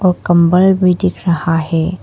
और कंबल भी दिख रहा है।